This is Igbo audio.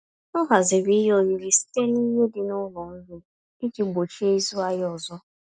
Ọ haziri ihe oriri site n'ihe dị n'ụlọ nri, iji gbochie ịzụ ahịa ọzọ.